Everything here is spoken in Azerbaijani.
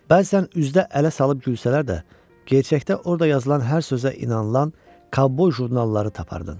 Bəzən üzdə ələ salıb gülsələr də, gerçəkdə orda yazılan hər sözə inanılan kovboy jurnalları tapardın.